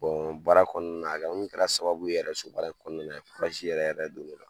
baara kɔnɔna na a kɔni kɛra sababu yɛrɛ so baara kɔnɔna yɛrɛ yɛrɛ don ne la